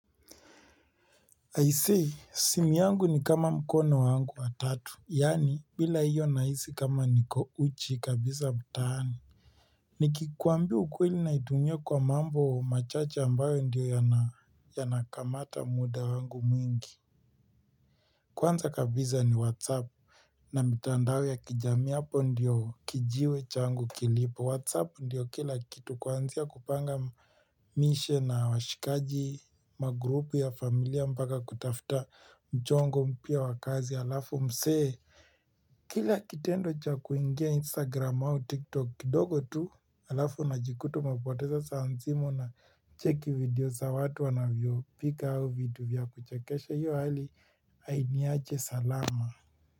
I see, simu yangu ni kama mkono wangu wa tatu. Yani, bila hiyo nahisi kama niko uchi kabisa mtaani. Nikikuambia ukweli naitumia kwa mambo machache ambayo ndiyo yanakamata muda wangu mwingi. Kwanza kabisa ni WhatsApp. Na mitandao ya kijamii hapo ndiyo kijiwe cha wangu kilipo. Whatsapp ndiyo kila kitu kwanzia kupanga mishe na washikaji magrupu ya familia mpaka kutafta mjongo mpya wakazi. Alafu msse, kila kitendo cha kuingia instagram au tiktok kidogo tu. Alafu na unajikuta umepoteza saa nzima na cheki video za watu wanavyo pika au video vya kuchekesha. Hiyo hali hainiachi salama.